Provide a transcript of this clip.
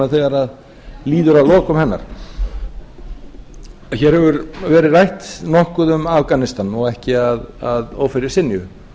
þegar líður að lokum hennar hér hefur verið rætt nokkuð um afganistan og ekki að ófyrirsynju